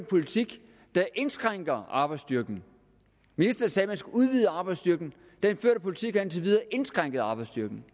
politik der indskrænker arbejdsstyrken ministeren sagde at man skulle udvide arbejdsstyrken den førte politik har indtil videre indskrænket arbejdsstyrken